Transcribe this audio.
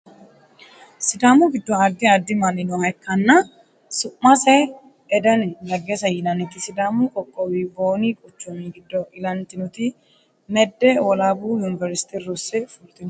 sidaamu giddo addi addi manni nooha ikkanna su'mase edeni legese yinanniti sidaamu qoqqowi booni quchumi giddo ilantinoti medde wolaabu universtera rosse fultinote